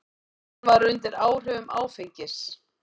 Hann var undir áhrifum áfengis.